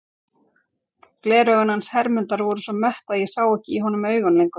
Gleraugun hans Hermundar voru svo mött að ég sá ekki í honum augun lengur.